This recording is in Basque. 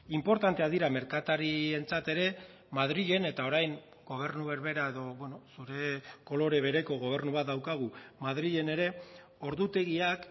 inportanteak dira merkatarientzat ere madrilen eta orain gobernu berbera edo zure kolore bereko gobernu bat daukagu madrilen ere ordutegiak